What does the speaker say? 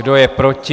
Kdo je proti?